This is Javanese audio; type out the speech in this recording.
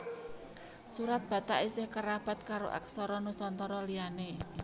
Surat Batak isih kerabat karo aksara Nusantara liyané